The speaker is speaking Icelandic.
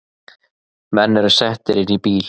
Menn eru settir inn í bíl